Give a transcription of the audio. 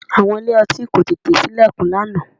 Àwọn ilé-ọtí kò tètè sí ìlẹ̀kùn lánàá